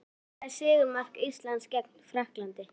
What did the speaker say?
Hver skoraði sigurmark Íslands gegn Frakklandi?